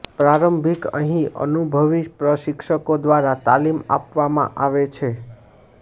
પ્રારંભિક અહીં અનુભવી પ્રશિક્ષકો દ્વારા તાલીમ આપવામાં આવે છે